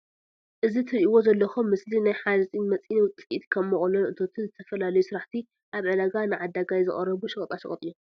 እዚ ትርእዎ ዘለኩም ምስሊ ናይ ሓፂን መፂን ውፂኢት ከም ሞቅሎን እቶንን ዝተፈላለዩ ስራሕቲ ኣብ ዕዳጋ ንዓዳጋይ ዝቀረቡ ሸቀጣ ሸቀጥ እዮም።